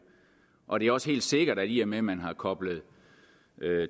og det er også helt sikkert at i og med at man har koblet